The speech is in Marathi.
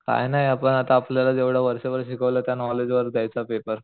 काय नाय आपण आता आपल्याला जेवढं वर्षभर शिकवलं त्या नॉलेज वर देयचा पेपर.